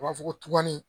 U b'a fɔ ko tukɔni